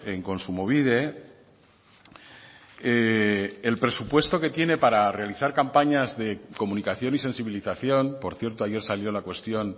en kontsumobide el presupuesto que tiene para realizar campañas de comunicación y sensibilización por cierto ayer salió la cuestión